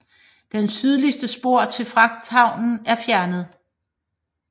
Det sydligste spor til fragthavnen er fjernet